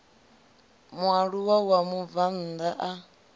mualuwa wa mubvann ḓa a